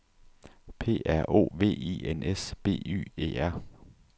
P R O V I N S B Y E R